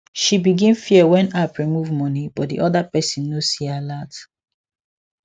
she begin fear when app remove money but the other person no see alert